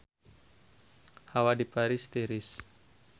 Hawa di Paris tiris